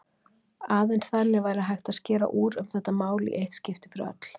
Aðeins þannig væri hægt að skera úr um þetta mál í eitt skipti fyrir öll.